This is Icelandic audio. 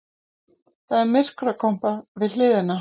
Það er myrkrakompa við hliðina.